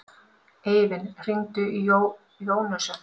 Eivin, hringdu í Jónösu.